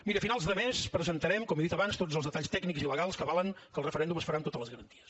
miri a finals de mes presentarem com he dit abans tots els detalls tècnics i legals que avalen que el referèndum es farà amb totes les garanties